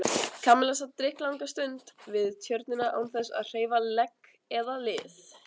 Kamilla sat drykklanga stund við Tjörnina án þess að hreyfa legg eða lið.